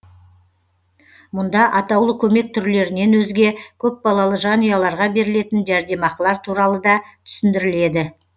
мұнда атаулы көмек түрлерінен өзге көпбалалы жанұяларға берілетін жәрдемақылар туралы да түсіндіріледі